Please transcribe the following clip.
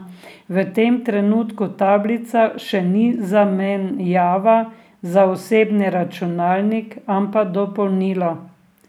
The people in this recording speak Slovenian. V tem trenutku tablica še ni zamenjava za osebni računalnik, ampak dopolnilo.